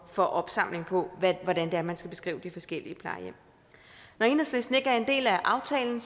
for opsamling på hvordan det er man skal beskrive de forskellige plejehjem når enhedslisten ikke er en del af aftalen